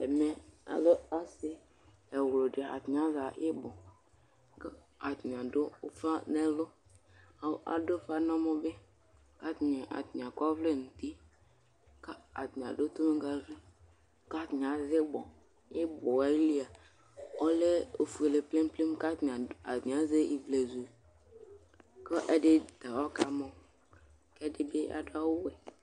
ɛmɛ alɛ ase ɛwlodi atani aɣa ibu atani ado ufa n'ɛlo atani ado ufa n'ɛmɔ bi k'atani akɔ ɔvlɛ n'uti ko atani ado tonŋgavi ko atani azɛ ibɔ ibɔɛ ayili ɔlɛ ofuele plenplen ko atani azɛ ivlezu ko ɛdi ta ɔkamɔ k'ɛdi bi ado awu wɛ